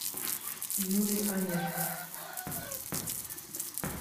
юлий онешко